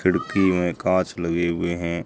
खिड़की में कांच लगे हुएं हैं।